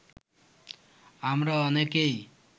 আমরা অনেকেই